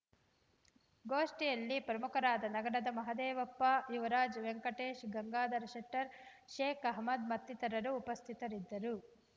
ಗೋಷ್ಠಿಯಲ್ಲಿ ಪ್ರಮುಖರಾದ ನಗರದ ಮಹದೇವಪ್ಪ ಯುವರಾಜ್‌ ವೆಂಕಟೇಶ್‌ ಗಂಗಾಧರ ಶೆಟ್ಟರ್ ಶೇಕ್‌ ಅಹಮ್ಮದ್‌ ಮತ್ತಿತರರು ಉಪಸ್ಥಿತರಿದ್ದರು